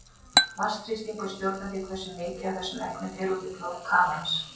Vatnsþrýstingur stjórnar því hversu mikið af þessum efnum fer út í blóð kafarans.